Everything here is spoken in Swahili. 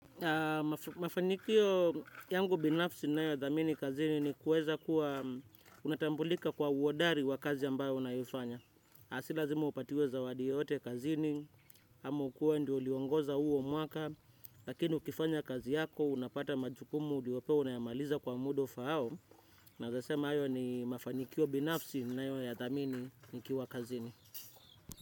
Mafanikio yangu binafsi nayodhamini kazini ni kueza kuwa unatambulika kwa uodari wa kazi ambayo unayofanya aah si lazima upatiwe zawadi yoyote kazini ama ukue we ndo uliongoza huo mwaka. Lakini ukifanya kazi yako unapata majukumu uliopewa unayamaliza kwa muda ufaao. Naweza sema iyo ni mafanikio binafsi ninayo yadhamini nikiwa kazini.